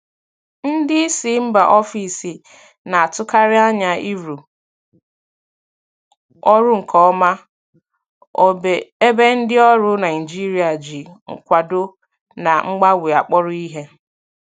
Ndị isi mba ofesi na-atụkarị anya ịrụ ọrụ nke ọma, ebe ndị ọrụ Naijiria ji nkwado na mgbanwe akpọrọ ihe.